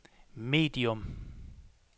medium